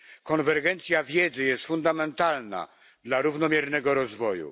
Konwergencja wiedzy jest fundamentalna dla równomiernego rozwoju.